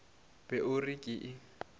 be o re ke e